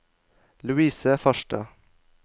Louise Farstad